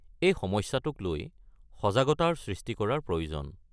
এই সমস্যাটোক লৈ সজাগতাৰ সৃষ্টি কৰাৰ প্ৰয়োজন।